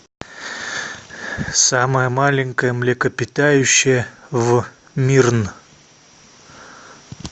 самое маленькое млекопитающее в мирн